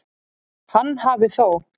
Hann hafi þó